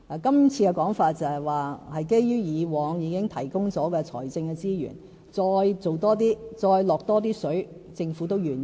今次的說法是，在以往已經提供的財政資源之外再多做一些，再"落多些水"，政府也是願意的。